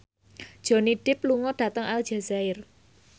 Johnny Depp lunga dhateng Aljazair